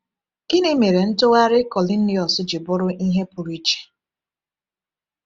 Gịnị mere ntụgharị Kọniliọs ji bụrụ ihe pụrụ iche?